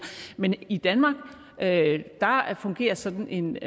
men i danmark fungerer sådan en